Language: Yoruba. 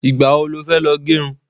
Ìgbà wo lo fẹ́ lọ gẹrun?